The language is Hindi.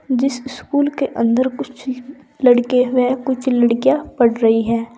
जिस स्कूल के अंदर कुछ लड़के व कुछ लड़कियां पढ़ रही हैं।